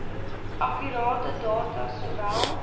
akkurate data sowel